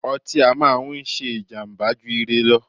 ọtí á máà ń ṣé ìjàmbá jù ire lọ.